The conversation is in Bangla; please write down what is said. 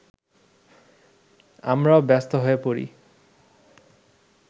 আমরাও ব্যস্ত হয়ে পড়ি